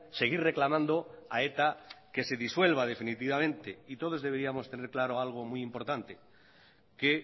seguir reclamando a eta que se disuelva definitivamente y todos deberíamos tener claro algo muy importante que